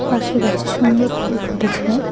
পাশে গাছে সুন্দর ফুল ফুটেছে।